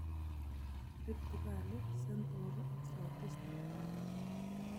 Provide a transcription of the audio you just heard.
Rift valley, Central ak Southeastern